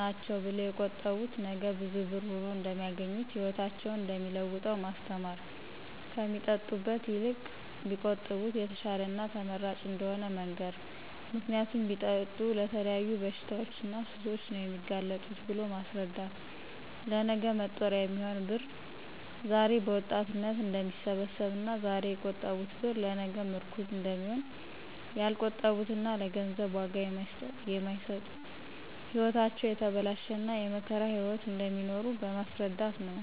ናቸው ብለው የቆጠቡት ነገ ብዙ ብር ሁኖ እደሚያገኙት ህይወታቸውን እደሚለውጠው ማስተማር ከሚጠጡበት ይልቅ ቢቆጥቡበት የተሻለና ተመራጭ እደሆነ መንገር ምክንያቱም ቢጠጡ ለተለያዩ በሽታዎችና ሱሶች ነው የሚጋለጡት ብሎ ማስረዳት ለነገ መጦሪያ የሚሆን ብር ዛሬ በወጣትነት እደሚሰበሰብና ዛሬ የቆጠቡት ብር ለነገ ምርኩዝ እደሚሆን ያልቆጠቡትና ለገንዘብ ዋጋ የማይሰጡት ህይወታቸው የተበላሸና የመከራ ህይዎት እደሚኖሩ በማስረዳት ነው።